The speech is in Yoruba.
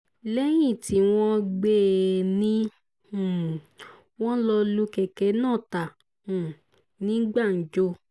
lẹ́yìn tí wọ́n gbé e ni um wọ́n lọ́ọ́ lu kẹ̀kẹ́ náà ta um ní gbàǹjo